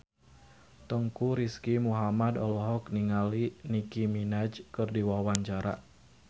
Teuku Rizky Muhammad olohok ningali Nicky Minaj keur diwawancara